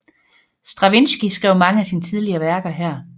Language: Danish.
Stravinskij skrev mange af sine tidlige værker her